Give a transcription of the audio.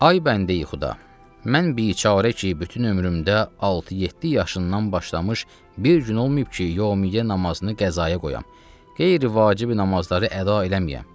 Ey bəndeyi-Xuda, mən biçarə ki, bütün ömrümdə altı-yeddi yaşından başlamış bir gün olmayıb ki, Yövmiyyə namazını qəzaya qoyayam, qeyri-vacib namazları əda eləməyəm.